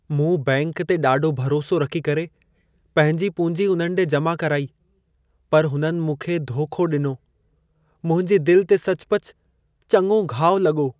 मूं बैंक ते ॾाढो भरोसो रखी करे, पंहिंजी पूंजी उन्हनि ॾे जमा कराई, पर हुननि मूंखे धोखो ॾिनो। मुंहिंजी दिल ते सचपचु चङो घाव लॻो।